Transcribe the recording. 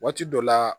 Waati dɔ la